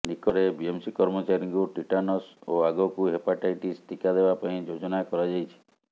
ନିକଟରେ ବିଏମ୍ସି କର୍ମଚାରୀଙ୍କୁ ଟିଟାନସ୍ ଓ ଆଗକୁ ହେପାଟାଇଟିସ୍ ଟିକା ଦେବା ପାଇଁ ଯୋଜନା କରାଯାଇଛି